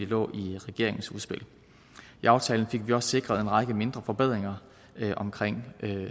lå i regeringens udspil i aftalen fik vi også sikret en række mindre forbedringer omkring